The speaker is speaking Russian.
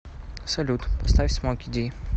салют поставь смоки ди